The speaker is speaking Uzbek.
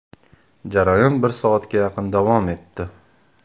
Jarayon bir soatga yaqin davom etdi.